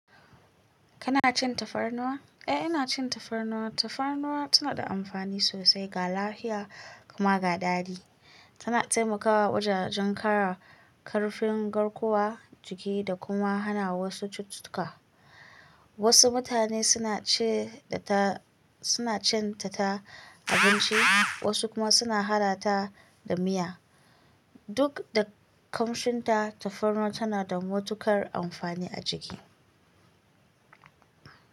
Kana cin tafarnuwa? Eh, ina cin tafarnuwa. Tafarnuwa tana da amfani sosai ga lafiya kuma ga dadi. Tana taimakawa wajen kara karfin garkuwa, jiki da kuma hana wasu cututtuka. Wasu mutane suna ce da ta, suna cin ta ta abinci, wasu kuma suna hada ta da miya. Duk da kamshinta, tafarnuwa tana da matuƙar amfani a jiki.